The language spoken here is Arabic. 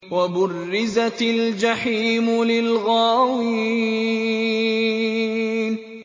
وَبُرِّزَتِ الْجَحِيمُ لِلْغَاوِينَ